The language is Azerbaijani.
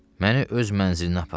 Məni öz mənzilinə apar.